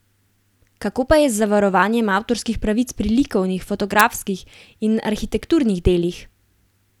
Kako pa je z varovanjem avtorskih pravic pri likovnih, fotografskih in arhitekturnih delih?